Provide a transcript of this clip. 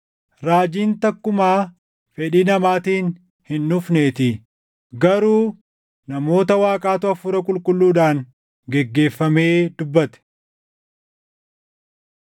Raajiin takkumaa fedhii namaatiin hin dhufneetii; garuu namoota Waaqaatu Hafuura Qulqulluudhaan geggeeffamee dubbate.